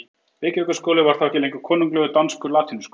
Reykjavíkurskóli var þá ekki lengur konunglegur danskur latínuskóli.